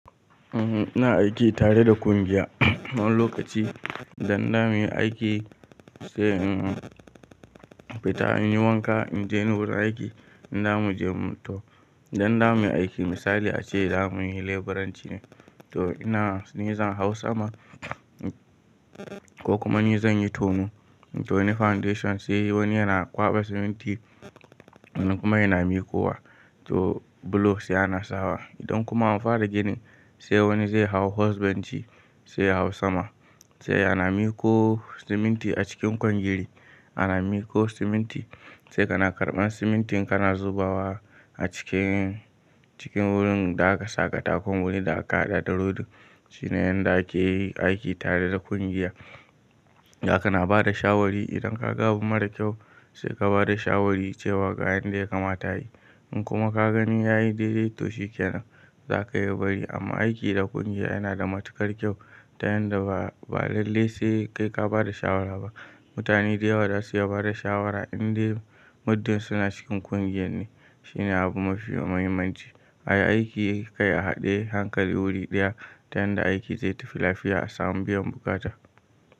Ina aiki tare da kungiya. Wani lokaci idan za mu yi aiki, sai in fita in yi wanka, in je wurin aiki, idan za mu je, to idan za mu yi aiki misali ace za mu yi leburanci ne, to ina ni zan hau sama ko kuma ni zan yi tono. To ni foundation sai wani yana kwaɓa siminti, wani kuma yana miko wa, to bulo sai ana sawa. Idan kuma an fara ginin, sai wani zai hau hos benci, sai yahau sama, sai ana miko siminti a cikin kwangili, ana miko siminti. Sai kana karɓan simintin kana zubawa a cikin, cikin wurin da aka saka katakon wurin da aka haɗa da rodin. Shine yanda ake yi aiki tare da kungiya. Daka na ba da shawari idan ka ga abu mara kyau, sai ka ba da shawari cewa ga yanda ya kamata a yi. In kuma ka gani ya yi daidaito shikenan, za ka iya bari. Amma aiki da kungiya yana da matuƙar kyau ta yanda ba lalle sai kai ka ba da shawara ba. Mutane da yawa za su iya ba da shawara inda muddin suna cikin ƙungiyar ne. Shine abu mafi muhimmanci. A yi aiki kai a haɗe hankali wuri ɗaya ta yanda aiki zai tafi lafiya a samu biyan bukata.